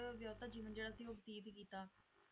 ਕਹਿੰਦੇ ਖੁਸ਼ਹਾਲ ਜੀਵਨ ਵਯਤੀਤ ਕੀਤਾ ਤੇ